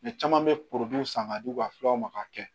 caman bɛ san ka di u ka filaw ma k'a kɛ